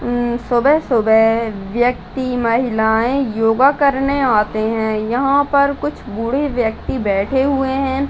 उम्म सुबह-सुबह व्यक्ति महिलाएं योगा करने आते हैं यहां पर कुछ बूढ़े व्यक्ति बैठे हुए हैं।